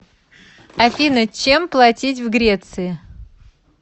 афина чем платить в греции